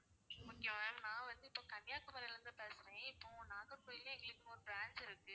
okay ma'am நான் வந்து இப்போ கன்னியாகுமரில இருந்து பேசுறேன் இப்போ நாகர்கோவில்லயும் எங்களுக்கு ஒரு branch இருக்கு